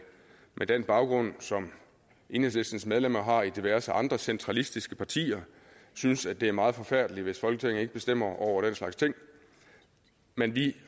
med den baggrund som enhedslistens medlemmer har i diverse andre centralistiske partier synes at det er meget forfærdeligt hvis folketinget ikke bestemmer over den slags ting men vi